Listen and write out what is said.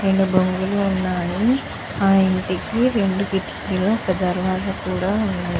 రెండు బొంగులు ఉన్నాయి. ఆ ఇంటికి రెండు కిటికీలు ఒక దర్వాజా కూడా ఉంది.